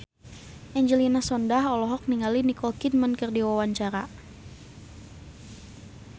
Angelina Sondakh olohok ningali Nicole Kidman keur diwawancara